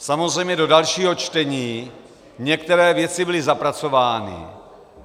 Samozřejmě do dalšího čtení některé věci byly zapracovány.